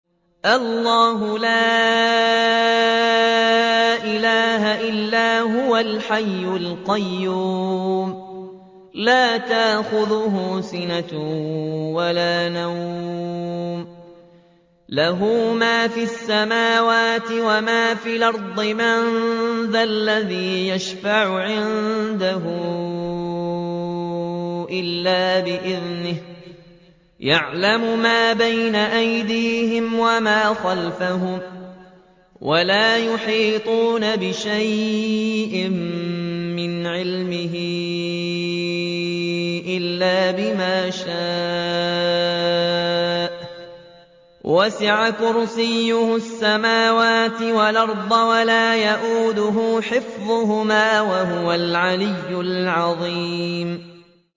اللَّهُ لَا إِلَٰهَ إِلَّا هُوَ الْحَيُّ الْقَيُّومُ ۚ لَا تَأْخُذُهُ سِنَةٌ وَلَا نَوْمٌ ۚ لَّهُ مَا فِي السَّمَاوَاتِ وَمَا فِي الْأَرْضِ ۗ مَن ذَا الَّذِي يَشْفَعُ عِندَهُ إِلَّا بِإِذْنِهِ ۚ يَعْلَمُ مَا بَيْنَ أَيْدِيهِمْ وَمَا خَلْفَهُمْ ۖ وَلَا يُحِيطُونَ بِشَيْءٍ مِّنْ عِلْمِهِ إِلَّا بِمَا شَاءَ ۚ وَسِعَ كُرْسِيُّهُ السَّمَاوَاتِ وَالْأَرْضَ ۖ وَلَا يَئُودُهُ حِفْظُهُمَا ۚ وَهُوَ الْعَلِيُّ الْعَظِيمُ